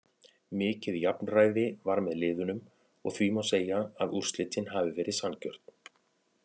Mikið jafnræði var með liðunum og því má segja að úrslitin hafi verið sanngjörn.